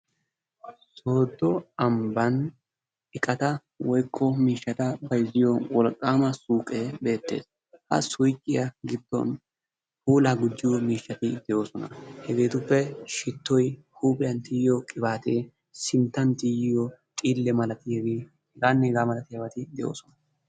Sooddo ambban iqata woykko miishshata bayzziyo wolqqaama suuqee beettees. Ha suyqiya giddon puulaa gujjiyo miishshati de'oosona. Hegeetuppe: shittoy, huuphiyan tiyiyo qibaatee, sinttan tiyiyo xiille milatiyagee h.h.m de'oosona.